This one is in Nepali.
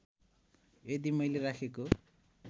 यदि मैले राखेको